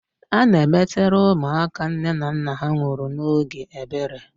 Ana emetere ụmụaka nne na nna ha nwụrụ n' ógè ebere.